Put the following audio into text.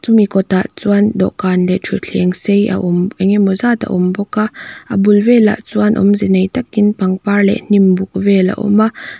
mi kawtah chuan dawhkan leh ṭhutthleng sei a awm engemaw zat a awm bawk a a bul velah chuan awmze nei takin pangpar leh hnimbuk vel a awm a.